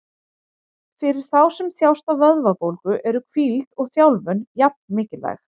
Fyrir þá sem þjást af vöðvabólgu eru hvíld og þjálfun jafn mikilvæg.